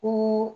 Ko